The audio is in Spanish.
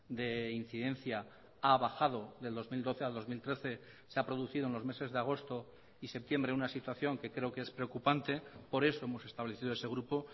de incidencia ha bajado del dos mil doce al dos mil trece se ha producido en los meses de agosto y septiembre una situación que creo que es preocupante por eso hemos establecido ese grupo